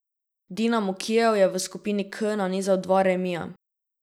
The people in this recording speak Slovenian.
Dinamo Kijev je v skupini K nanizal dva remija.